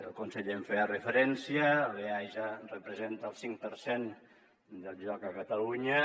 el conseller hi feia referència l’eaja representa el cinc per cent del joc a catalunya